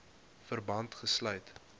verband gesluit